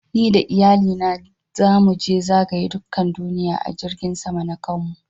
Ni da Iyalli na zamu je zagaya dukan duniyyan a jirigin sama na kanmu.